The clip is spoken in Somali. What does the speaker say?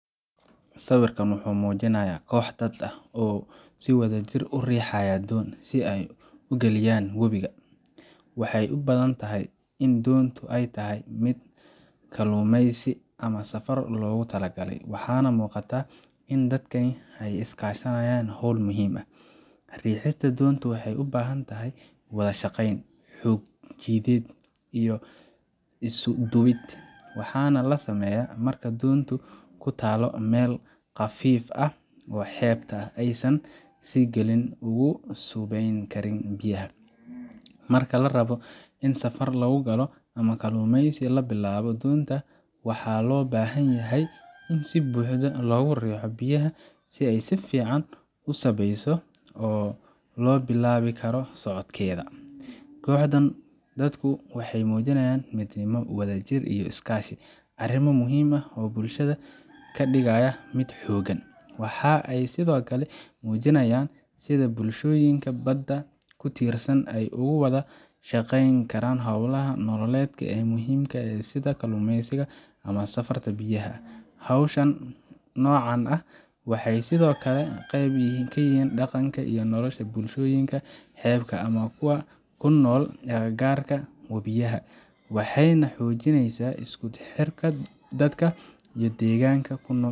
Sawirkan wuxuu muujinayaa koox dad ah oo wadajir u riixaya doon si ay uga geliyaan webiga. Waxay u badan tahay in doontu ay tahay mid kalluumeysi ama safar loogu talagalay, waxaana muuqata in dadkani ay iska kaashanayaan howl muhiim ah. Riixista doonta waxay u baahan tahay wada shaqayn, xoog jidheed, iyo isu-duwid, waxaana la sameeyaa marka doontu ku taallo meel qafiif ah ama xeebta oo aysan si sahlan ugu sabbayn karin biyaha. Marka la rabo in safar lagu galo ama kalluumeysi la bilaabo, doonta waxaa loo baahan yahay in si buuxda loogu riixo biyaha si ay si fiican u sabbeyso oo loo bilaabi karo socodkeeda. Kooxdan dadku waxay muujinayaan midnimo, wadajir iyo iskaashi arrimo muhiim ah oo bulshada ka dhigaya mid xooggan. Waxa ay sidoo kale muujinayaan sida bulshooyinka badda ku tiirsan ay ugu wada shaqeeyaan hawlaha nololeed ee muhiimka ah sida kalluumeysiga ama safarrada biyaha ah. Hashan noocan ah waxay sidoo kale qayb ka yihiin dhaqanka iyo nolosha bulshooyinka xeebaha ama kuwa ku nool agagaarka webiyada, waxayna xoojiyaan isku xirka dadka iyo deegaanka ay ku nool